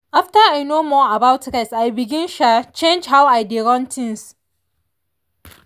after i know more about rest i begin um change how i dey run things.